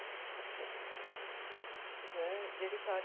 ਹੈਂ ਜਿਹੜੀ ਸਾਰੀ ਉਹ